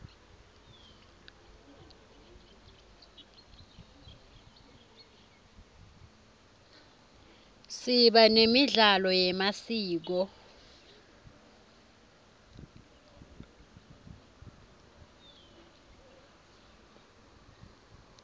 siba nemidlalo yemasiko